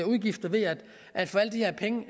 udgifter ved at få alle de her penge